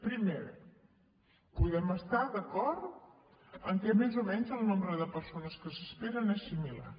primera podem estar d’acord amb el fet que més o menys el nombre de persones que s’esperen és similar